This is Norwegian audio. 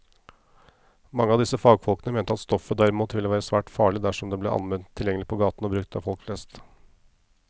Mange av disse fagfolkene mente at stoffet derimot ville være svært farlig dersom det ble allment tilgjengelig på gaten og brukt av folk flest.